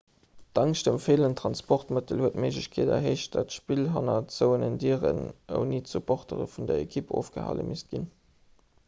d'angscht ëm feelend transportmëttel huet d'méiglechkeet erhéicht datt d'spill hanner zouenen dieren ouni d'supportere vun der ekipp ofgehale misst ginn